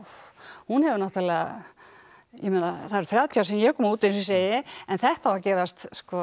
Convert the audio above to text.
hún hefur náttúrulega ég meina það eru þrjátíu ár síðan ég kom út eins og ég segi en þetta á að gerast